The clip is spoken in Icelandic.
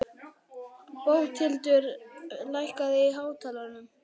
Bóthildur, lækkaðu í hátalaranum.